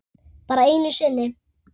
Bara einu sinni?